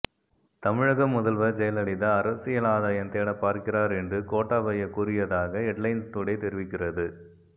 தமிழக முதல்வர் ஜெயலலிதா அரசியல் ஆதாயம் தேடப்பார்க்கிறார் என்று கோட்டாபய கூறியதாக ஹெட்லைன்ஸ் டுடே தெரிவிக்கிறது